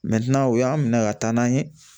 o y'an minɛ ka taa n'an ye